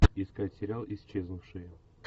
искать сериал исчезнувшие